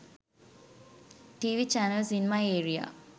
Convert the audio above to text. tv channels in my area